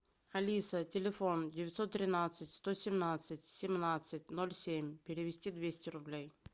алиса телефон девятьсот тринадцать сто семнадцать семнадцать ноль семь перевести двести рублей